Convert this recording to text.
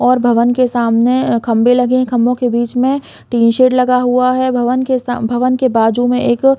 और भवन के सामने अ खम्बे लगे है खम्बो के बीच में टिन शेड लगा हुआ है भवन के स भवन के बाजु में एक--